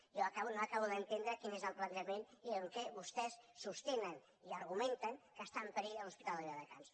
jo no acabo d’entendre quin és el plantejament i en què vostès sostenen i argumenten que està en perill l’hospital de viladecans